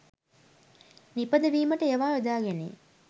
නිපදවීමට ඒවා යොදා ගැනේ.